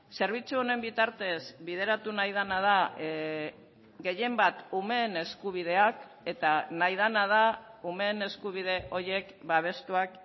zerbitzu honen bitartez bideratu nahi dena da gehienbat umeen eskubideak eta nahi dena da umeen eskubide horiek babestuak